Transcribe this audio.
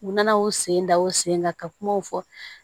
U nana o sen da o sen kan ka kumaw fɔ